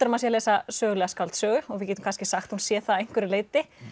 maður sé að lesa sögulega skáldsögu og við getum kannski sagt að hún sé það að einhverju leyti